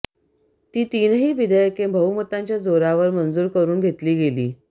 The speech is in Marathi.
ती तीनही विधेयके बहुमताच्या जोरावर मंजूर करून घेतली गेली